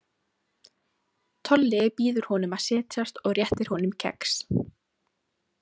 Tolli býður honum að setjast og réttir honum kex.